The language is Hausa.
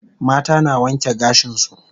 Mata na wanke gashin su